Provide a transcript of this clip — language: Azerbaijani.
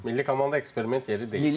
Milli komanda eksperiment yeri deyil.